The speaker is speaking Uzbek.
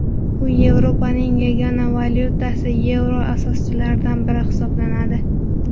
U Yevropaning yagona valyutasi yevro asoschilaridan biri hisoblanadi.